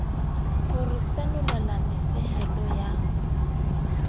ho re senolela mofehelo ya